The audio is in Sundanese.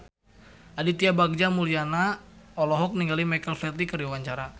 Aditya Bagja Mulyana olohok ningali Michael Flatley keur diwawancara